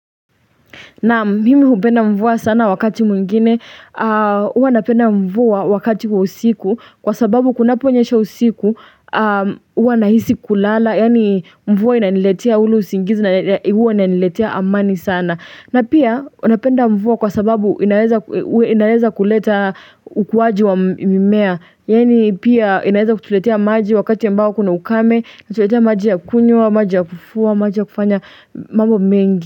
Na mimi hupenda mvua sana wakati mwingine, huwa napenda mvua wakati wa usiku, kwa sababu kunapo nyesha usiku, huwa nahisi kulala, yani mvua inaniletea huru usingizi na huwa inaniletea amani sana. Na pia, napenda mvua kwa sababu inaweza kuleta ukuwaji wa mimea, yani pia inaweza kutuletea maji wakati ambao kuna ukame, tuletea maji ya kunywa, maji ya kufuwa, maji ya kufanya mambo mengi.